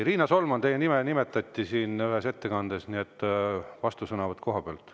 Riina Solman, teie nime nimetati ühes ettekandes, nii et vastusõnavõtt koha pealt.